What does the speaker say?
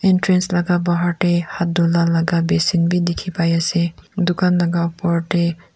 Entrance laga bahar tey hat dhula laga basin bhi dekhi pai ase dukan laga upor tey--